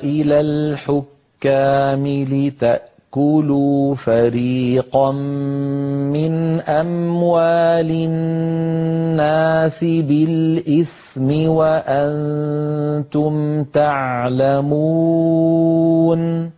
إِلَى الْحُكَّامِ لِتَأْكُلُوا فَرِيقًا مِّنْ أَمْوَالِ النَّاسِ بِالْإِثْمِ وَأَنتُمْ تَعْلَمُونَ